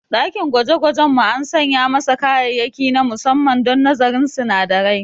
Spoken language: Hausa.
Dakin gwajegwajen mu an sanya masa kayayyaki na musamman don nazarin sinadarai.